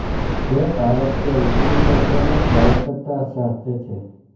वे भारत के उत्तरी क्षेत्र में स्वायत्तता चाहते थे